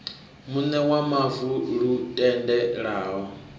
muṋe wa mavu lu tendelaho